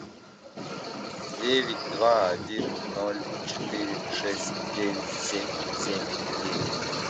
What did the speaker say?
девять два один ноль четыре шесть девять семь семь девять